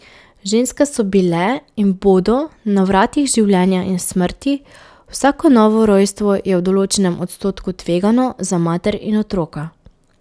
Ženske so bile in bodo na vratih življenja in smrti, vsako novo rojstvo je v določenem odstotku tvegano za mater in otroka.